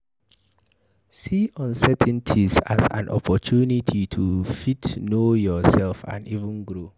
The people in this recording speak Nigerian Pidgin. See uncertainties as an opportunity to fit know yourself and even grow